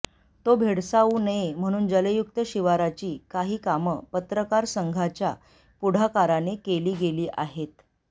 तो भेडसाऊ नये म्हणून जलयुक्त शिवारची काही कामं पत्रकार संघाच्या पुढाकाराने केली गेली आहेत